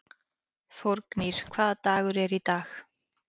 Þórgnýr, hvaða dagur er í dag?